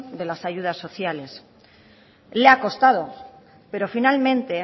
de las ayudas sociales le ha costado pero finalmente